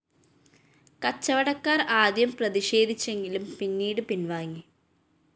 കച്ചവടക്കാര്‍ ആദ്യം പ്രതിഷേധിച്ചെങ്കിലും പിന്നീട് പിന്‍വാങ്ങി